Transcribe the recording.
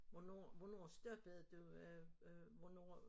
Hvornår hvornår stoppede du øh hvornår